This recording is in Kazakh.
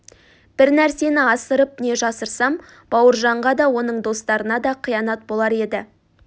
бір нәрсені асырып не жасырсам бауыржанға да оның достарына да қиянат болар еді